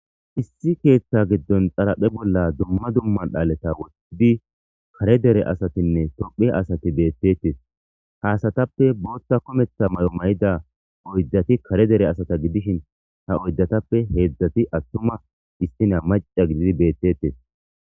issi keeththa giddon xaraphe bolla duma duma dhaaleta wottidi kare dere asatinne tophphiye asati beettetes haasatappe bootta kometha may7o may7ida oyddati kare dere asata gidishin ha oydatappe heedzdzati attuma istina maca gididi beettettes